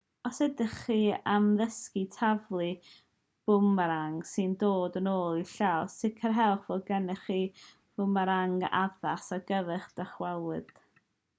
os ydych chi am ddysgu taflu bwmerang sy'n dod yn ôl i'ch llaw sicrhewch fod gennych chi fwmerang addas ar gyfer dychwelyd